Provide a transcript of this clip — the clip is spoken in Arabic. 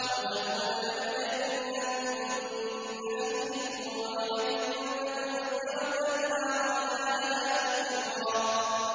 أَوْ تَكُونَ لَكَ جَنَّةٌ مِّن نَّخِيلٍ وَعِنَبٍ فَتُفَجِّرَ الْأَنْهَارَ خِلَالَهَا تَفْجِيرًا